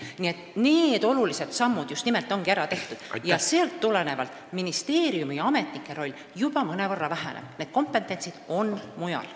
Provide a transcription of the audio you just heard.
Nii et just nimelt sellised olulised sammud on ära tehtud ja ministeeriumi ametnike roll mõnevõrra väheneb, sest see kompetents on mujal.